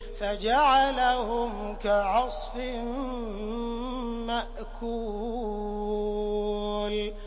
فَجَعَلَهُمْ كَعَصْفٍ مَّأْكُولٍ